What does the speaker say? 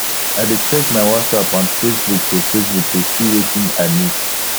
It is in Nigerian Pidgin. i dey check my whatsapp and facebook to facebook to see wetin i miss